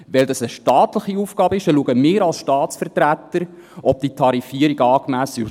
Weil dies eine staatliche Aufgabe ist, schauen wir als Staatsvertreter, ob diese Tarifierung angemessen ist.